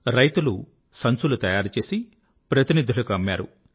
రైతులు సంచులు తయారుచేసి ప్రతినిధులకు అమ్మారు